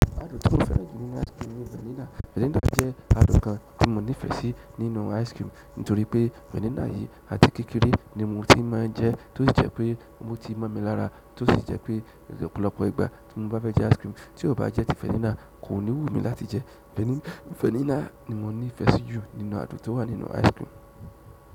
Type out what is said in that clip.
Àdún toi mo fẹ́ràn jú nínú ice cream ní vanilla. Vanilla jẹ́ àdúkàn ti mo nifèsì nínú ice cream, nítorí pé vanilla yí àti kékeré ni mo ti máa jẹ, tó sì jẹ́ pé o ti máa mi larà, tó sì jẹ́ pé ọ̀pọ̀lọpọ̀ ìgbà tí mo bá fẹ́ jẹ ice cream, tí ó bá jẹ́ ti vanilla kò ní wù mí láti jẹ. Vanilla ni mo ní fèsì jù nínú àdútówọ́ nínú ice cream.